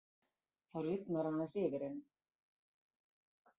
Þá lifnar aðeins yfir henni.